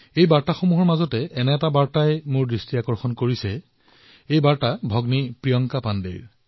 এই বাৰ্তাসমূহৰ মাজত এনে এক বাৰ্তাও আছে যি মোৰ দৃষ্টিগোচৰ হৈছে এই বাৰ্তা হল ভগ্নী প্ৰিয়ংকা পাণ্ডেজীৰ